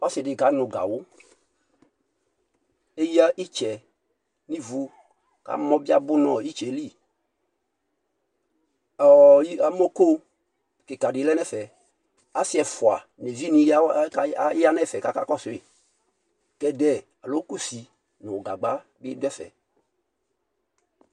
Ɔsidi kanu gawu leya itsɛ nivu amɔ biabu nitsɛliamɔko kika dile nɛfɛ asi ɛfua nivini aya kakɔsu kɛdɛ nii kusi nu gagba adɛfɛ